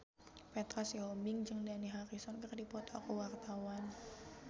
Petra Sihombing jeung Dani Harrison keur dipoto ku wartawan